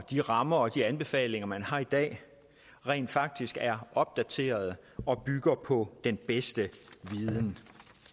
de rammer og anbefalinger man har i dag rent faktisk er opdaterede og bygger på den bedste viden